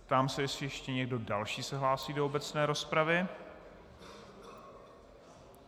Ptám se, jestli ještě někdo další se hlásí do obecné rozpravy.